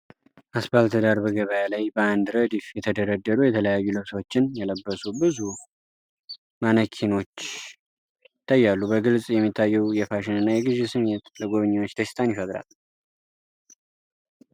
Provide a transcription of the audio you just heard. አስፓልት ዳር በገበያ ላይ፣ በአንድ ረድፍ የተደረደሩ የተለያዩ ልብሶችን የለበሱ ብዙ ማነኪኖች ይታያሉ። በግልጽ የሚታየው የፋሽን እና የግዢ ስሜት ለጎብኚዎች ደስታን ይፈጥራል።